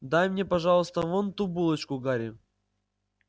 дай мне пожалуйста вон ту булочку гарри